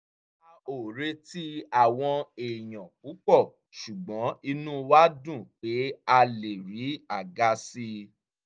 a ò retí àwọn èèyàn púpọ̀ ṣùgbọ́n inú wa dùn pé a lè rí àga sí i